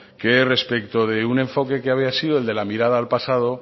que respecto de un enfoque que había sido el de la mirada al pasado